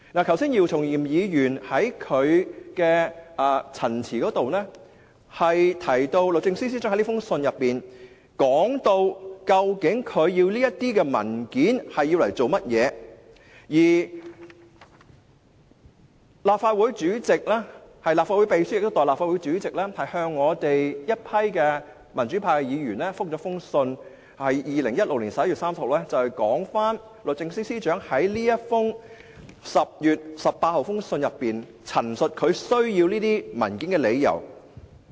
剛才姚松炎議員在他的陳辭中提到，律政司司長在這封信中提出他要求提供這些文件的原因，而立法會秘書亦代立法會主席，於2016年11月30日回覆我們民主派議員，有關律政司司長在10月18日的信件中陳述他需要這些文件的理由。